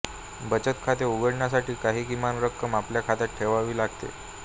बचत खाते उघडण्या साठी काही किमान रक्कम आपल्या खात्यात ठेवावी लागते